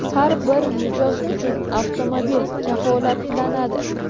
Har bir mijoz uchun avtomobil kafolatlanadi.